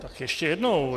Tak ještě jednou.